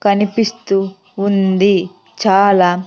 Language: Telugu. కనిపిస్తూ ఉంది చాలా --